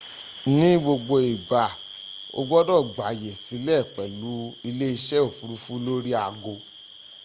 ní gbogbo igba o gbodo gbàyè sílẹ̀ pẹ̀lú ilé ise ofurufu lórí ago